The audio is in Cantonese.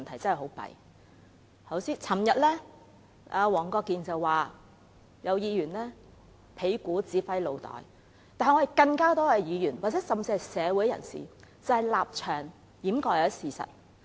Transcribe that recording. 昨天，黃國健議員說有議員是"屁股指揮腦袋"，但其實更多議員，甚至是社會人士，現在是以立場掩蓋事實。